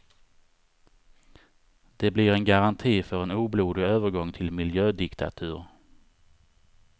De blir en garanti för en oblodig övergång till miljödiktatur.